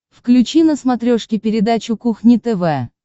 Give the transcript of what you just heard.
включи на смотрешке передачу кухня тв